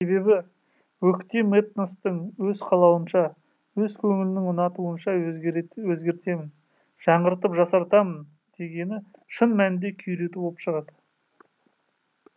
себебі өктем этностың өз қалауынша өз көңілінің ұнатуынша өзгертемін жаңғыртып жасартамын дегені шын мәнінде күйрету болып шығады